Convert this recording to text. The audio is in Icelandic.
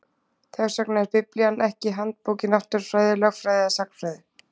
Þess vegna er Biblían ekki handbók í náttúrufræði, lögfræði eða sagnfræði.